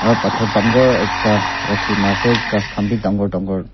aro pathor dangor ekta raki na ase kas kan b dangor dangor--